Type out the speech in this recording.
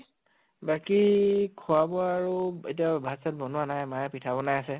বাকী খোৱা বোৱা আৰু এতিয়া ভাত চাত বনোৱা নাই, মায়ে পিঠা বনাই আছে